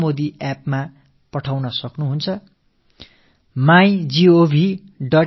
நரேந்திர மோடி செயலியிலோ mygov